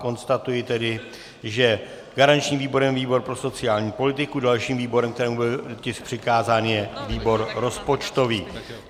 Konstatuji tedy, že garančním výborem je výbor pro sociální politiku, dalším výborem, kterému byl tisk přikázán, je výbor rozpočtový.